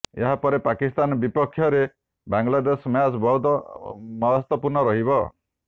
ଏହାପରେ ପାକିସ୍ତାନ ବିପକ୍ଷରେ ବାଂଲାଦେଶ ମ୍ୟାଚ ବହୁତ ମହତ୍ବପୁର୍ଣ ରହିବ